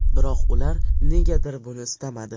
Biroq ular negadir buni istamadi.